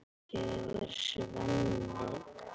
Ég er Svenni.